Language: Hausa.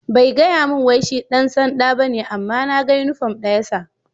Bai gaya mun wai shi ɗan sanɗa ba ne amma na gan uniform ɗa ya sa.